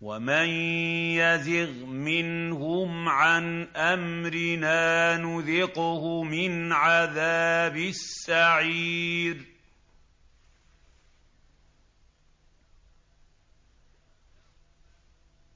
وَمَن يَزِغْ مِنْهُمْ عَنْ أَمْرِنَا نُذِقْهُ مِنْ عَذَابِ السَّعِيرِ